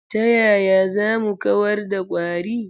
Ta yaya za mu kawar da ƙwari?